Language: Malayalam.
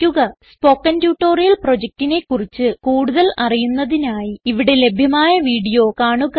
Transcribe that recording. സ്പോകെൻ ട്യൂട്ടോറിയൽ പ്രൊജക്റ്റിനെ കുറിച്ച് കൂടുതൽ അറിയുന്നതിനായി ഇവിടെ ലഭ്യമായ വീഡിയോ കാണുക